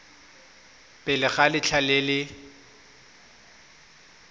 pele ga letlha le le